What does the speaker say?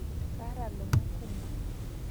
Kaata lomon kumo